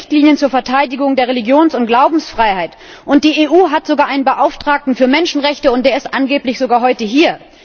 Es gibt Richtlinien zur Verteidigung der Religions und Glaubensfreiheit. Die EU hat sogar einen Beauftragten für Menschenrechte, und der ist angeblich sogar heute hier.